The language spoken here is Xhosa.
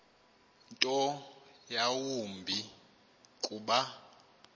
nto yawumbi kuba